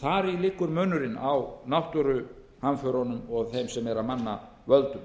þar í liggur munurinn á náttúruhamförunum og þeim sem eru af mannavöldum